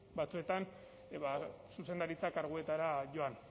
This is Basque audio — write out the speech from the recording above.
batzuetan ba zuzendaritza karguetara joan